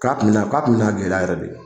K'a kun bɛna, k'a bɛna gɛlɛya yɛrɛ de.